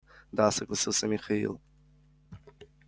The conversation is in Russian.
да согласился михаил